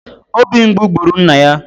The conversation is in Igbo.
Obi mgbu gburu nna ya